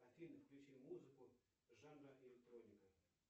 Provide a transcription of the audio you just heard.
афина включи музыку жанра электроника